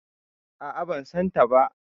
A'a, ban san ta ba.